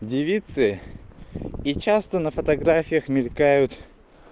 девицы и часто на фотографиях мелькают